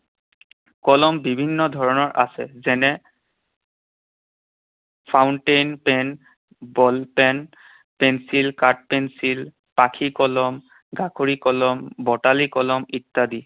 কলম বিভিন্ন ধৰণৰ আছে, যেনে, fountain pen, ball pen, pencil, কাঠ পেঞ্চিল, পাখি কলম, কলম, বটালি কলম ইত্যাদি।